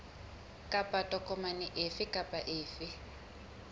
kapa tokomane efe kapa efe